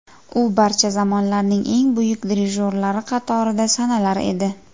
U barcha zamonlarning eng buyuk dirijorlari qatorida sanalar edi.